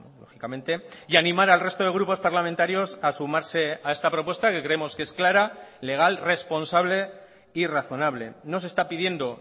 lógicamente y animar al resto de grupos parlamentarios a sumarse a esta propuesta que creemos que es clara legal responsable y razonable no se está pidiendo